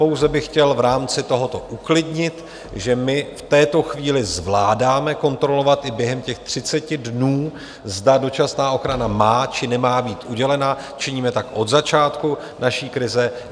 Pouze bych chtěl v rámci tohoto uklidnit, že my v této chvíli zvládáme kontrolovat i během těch 30 dnů, zda dočasná ochrana má, či nemá být udělena, činíme tak od začátku naší krize.